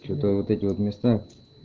что-то вот эти вот места